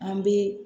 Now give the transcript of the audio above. An bɛ